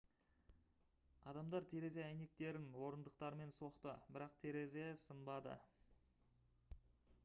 адамдар терезе әйнектерін орындықтармен соқты бірақ терезе сынбады